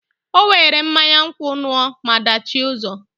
O were mmanya nkwu ṅụọ maa dachie ụzọ.